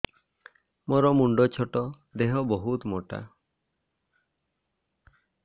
ମୋର ମୁଣ୍ଡ ଛୋଟ ଦେହ ବହୁତ ମୋଟା